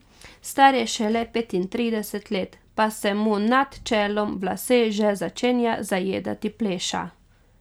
Star je šele petintrideset let, pa se mu nad čelom v lase že začenja zajedati pleša.